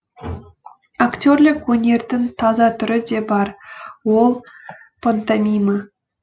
актерлік өнердің таза түрі де бар ол пантомима